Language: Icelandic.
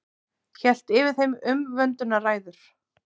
Hélt yfir þeim umvöndunarræður.